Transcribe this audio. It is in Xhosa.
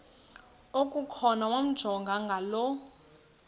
okukhona wamjongay ngaloo